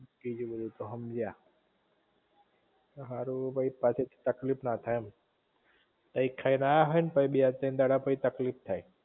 બીજું બધું તો હમજ્યા હારું પછી તકલીફ ના થાય એમ કૈક ખાઈને આયા હોય ને પઇ બે તૈણ દાડા પછી તકલીફ થાય